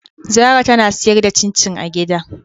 Zara tana sayar da cin cin a gida.